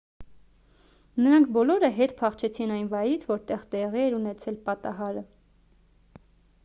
նրանք բոլորը հետ փախչեցին այն վայրից որտեղ տեղի էր ունեցել պատահարը